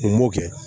N b'o kɛ